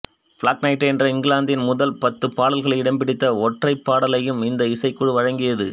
block Knight என்ற இங்கிலாந்தின் முதல் பத்துப் பாடல்களில் இடம் பிடித்த ஒற்றைப் பாடலையும் இந்த இசைக்குழு வழங்கியது